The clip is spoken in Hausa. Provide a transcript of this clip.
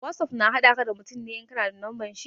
Wosof na haɗa ka da mutum ne in ka na da lambar shi.